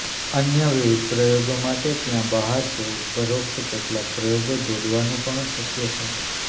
અન્ય વિવિધ પ્રયોગો માટે ત્યાં બહાર છે ઉપરોક્ત કેટલાક પ્રયોગો જોડવાનું પણ શક્ય છે